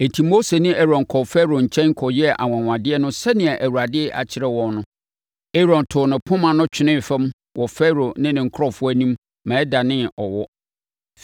Enti, Mose ne Aaron kɔɔ Farao nkyɛn kɔyɛɛ anwanwadeɛ no sɛdeɛ Awurade akyerɛ wɔn no. Aaron too ne poma no twenee fam wɔ Farao ne ne nkurɔfoɔ anim ma ɛdanee ɔwɔ.